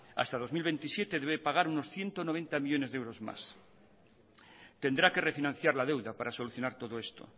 hasta el dos mil veintisiete debe pagar unos ciento noventa millónes de euros más tendrá que refinanciar la deuda para solucionar todo esto